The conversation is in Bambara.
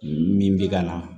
Min bɛ ka na